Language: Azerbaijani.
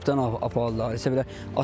Topdan apardılar, yəni belə.